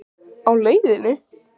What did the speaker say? Á leiðinni?